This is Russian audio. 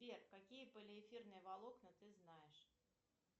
сбер какие полиэфирные волокна ты знаешь